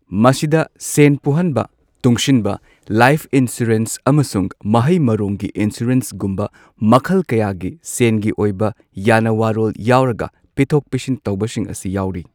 ꯃꯁꯤꯗ ꯁꯦꯟ ꯄꯨꯍꯟꯕ, ꯇꯨꯡꯁꯤꯟꯕ, ꯂꯥꯏꯐ ꯏꯟꯁꯨꯔꯦꯟꯁ ꯑꯃꯁꯨꯡ ꯃꯍꯩ ꯃꯔꯣꯡꯒꯤ ꯏꯟꯁꯨꯔꯦꯟꯁꯒꯨꯝꯕ ꯃꯈꯜ ꯀꯌꯥꯒꯤ ꯁꯦꯟꯒꯤ ꯑꯣꯏꯕ ꯌꯥꯅꯋꯥꯔꯣꯜ ꯌꯥꯎꯔꯒ ꯄꯤꯊꯣꯛ ꯄꯤꯁꯤꯟ ꯇꯧꯕꯁꯤꯡ ꯑꯁꯤ ꯌꯥꯎꯔꯤ꯫